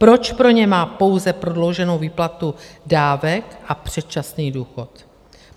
Proč pro ně má pouze prodlouženou výplatu dávek a předčasný důchod?